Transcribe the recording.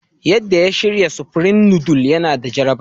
Yadda ya shirya Supreme noodles yana da jaraba.